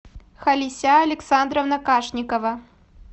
халися александровна кашникова